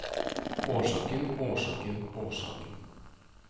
årsaken årsaken årsaken